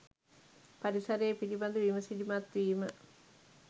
පරිසරය පිළිබඳ විමසිලිමත් වීම